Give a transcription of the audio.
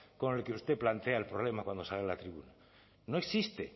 con el que usted plantea el problema cuando sale a la tribuna no existe